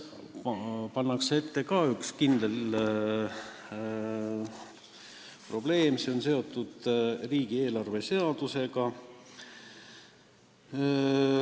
Probleem on seotud riigieelarve seadusega.